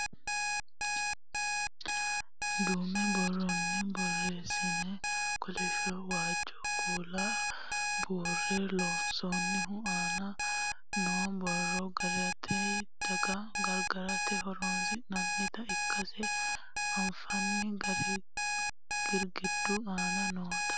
duume borronni borreessine kolishshonna waajjo kuula buurre loonsoonnihu aana noo borro giirate dano gargarate horonsi'nannita ikkase anfanni girgiddu aana noota